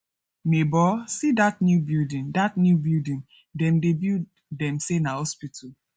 nebor see dat new building dat new building dem dey build dem say na hospital